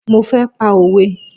Mo fẹ́ pa òwe